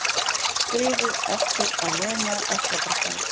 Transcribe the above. Skrifuð eftir að Lena ökklabrotnaði.